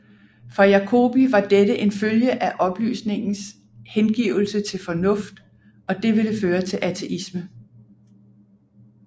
For Jacobi var dette en følge af oplysningens hengivelse til fornuft og det ville føre til ateisme